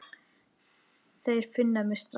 Þeir finna mig strax.